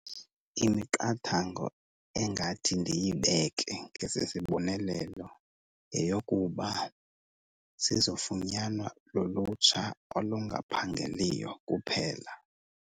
Imiqathango engathi ndiyibeke ngesisibonelelo yeyokuba sizofunyanwa lulutsha olungaphangeliyo kuphela.